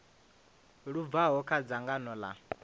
lu bvaho kha dzangano ḽa